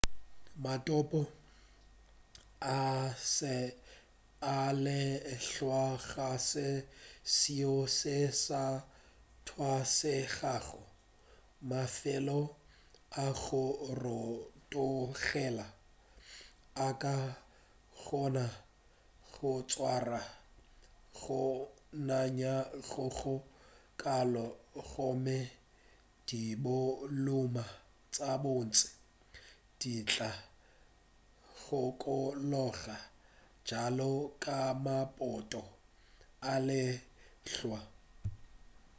maphoto a lehlwa ga se seo se sa tlwaelegago mafelo a go rotogela a ka kgona go swara go nanya go go kalo gomme dibolumu tša bontši di tla kgokologa bjalo ka maphoto a lehlwa